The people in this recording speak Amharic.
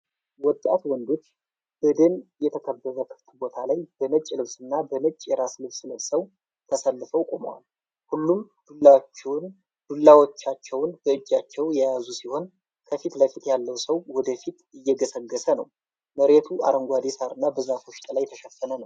ወጣት ወንዶች በደን የተከበበ ክፍት ቦታ ላይ በነጭ ልብስና በነጭ የራስ ልብስ ለብሰው ተሰልፈው ቆመዋል። ሁሉም ዱላዎችን በእጃቸው የያዙ ሲሆን፣ ከፊት ለፊት ያለው ሰው ወደ ፊት እየገሰገሰ ነው። መሬቱ አረንጓዴ ሣርና በዛፎች ጥላ የተሸፈነ ነው።